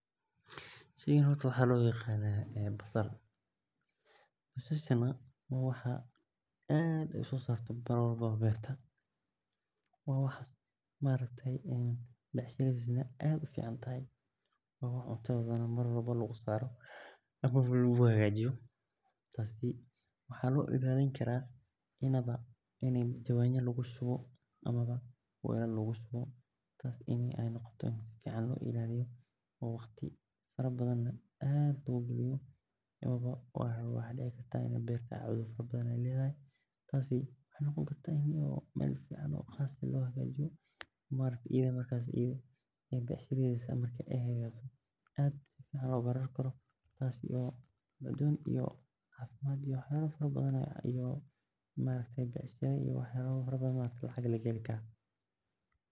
Sheygan horta waxaa lo yaqana basal waa wax berta marka kasta kasobaxdo cuntadha ayey so jidata waa aad lo isticmalo maxaa lo ilaliya karaa ini jawaana lagu shubo amawa waxaa dici kartaa in ee beer fican lo havajiyo in ee waxyala badan xaga laga heli karo.